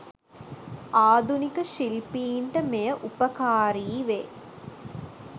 ආධුනික ශිල්පීන්ට මෙය උපකාරී වේ.